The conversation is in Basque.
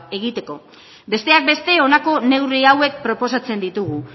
egiteko besteak beste honako neurri hauek proposatzen ditugu